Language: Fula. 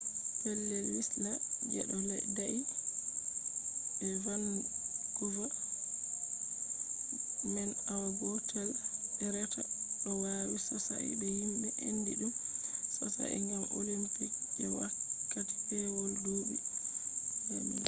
pellel wislas je ɗo dayi be vankuva dayugo man awa gotel be reta ɗo nawi sosai bo himɓe andi ɗum sosai gam olimpiks je wakkati pewol duuɓi 2010